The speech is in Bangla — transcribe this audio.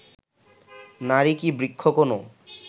নারী কি বৃক্ষ কোনো